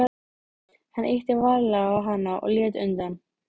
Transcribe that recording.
Hann ýtti varlega á hana og hún lét undan.